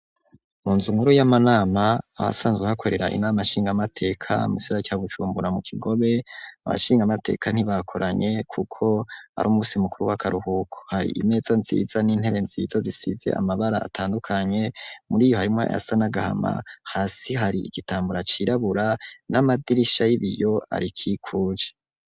Mu nzu nkuru y'amanama aha sanzwe hakorera inama shingamateka mu sira ca gucumbura mu kigobe abashingamateka ntibakoranye, kuko ari umusi mukuru w'akaruhuko hari imeza nziza n'intebe nziza zisize amabara atandukanye muri iyo harimwo yasa n'agahama hasi hari igitambura cirabura n'amadirisha ay'ibiyo ari ikikuje.